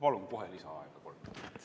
Palun kohe lisaaega ka!